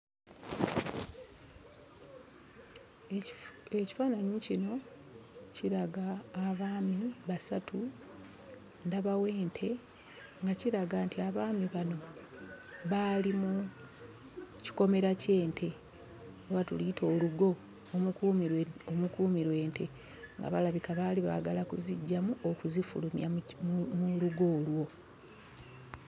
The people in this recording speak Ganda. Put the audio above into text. Ekifaananyi kino kiraga abaami basatu, ndabawo ente nga kiraga nti abaami bano baali mu kikomera ky'ente oba tuluyite olugo omukuumirwa omukuumirwa ente, nga balabika baali baagala kuziggyamu okuzifulumya mu lugo olwo.